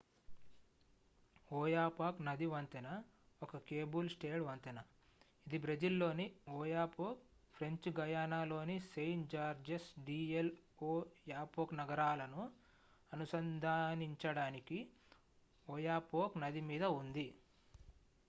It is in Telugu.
ఓయాపాక్ నది వంతెన ఒక కేబుల్-స్టేడ్ వంతెన ఇది బ్రెజిల్ లోని ఓయాపోక్ ఫ్రెంచ్ గయానాలోని సెయింట్-జార్జెస్ డి ఎల్'ఓయాపోక్ నగరాలను అనుసంధానించడానికి ఒయాపోక్ నది మీద ఉంది